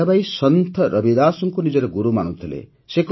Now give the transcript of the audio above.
ମୀରାବାଈ ସନ୍ଥ ରବିଦାସଙ୍କୁ ନିଜର ଗୁରୁ ମାନୁଥିଲେ